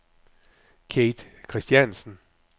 Kate Kristiansen